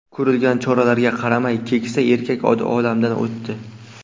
Ko‘rilgan choralarga qaramay, keksa erkak olamdan o‘tdi.